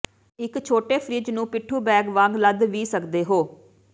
ਇਕ ਛੋਟੇ ਫਿ੍ਰਜ ਨੂੰ ਪਿੱਠੂ ਬੈਗ ਵਾਂਗ ਲੱਦ ਵੀ ਸਕਦੇ ਹੋ